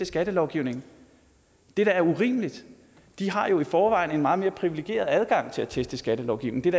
skattelovgivningen det er da urimeligt de har jo i forvejen en meget mere privilegeret adgang til at teste skattelovgivningen